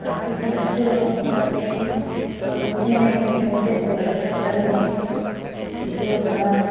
आँखि के आसू ला पोछत हे अउ पीछे में एक झन छोटे से लड़का खड़े हे जो हा--